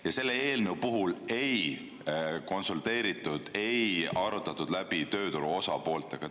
Ja selle eelnõu puhul ei konsulteeritud, ei arutatud läbi tööturu osapooltega.